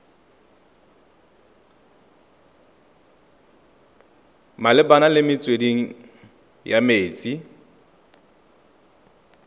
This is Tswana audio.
malebana le metswedi ya metsi